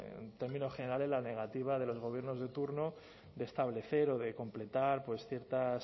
en términos generales la negativa de los gobiernos de turno de establecer o de completar ciertas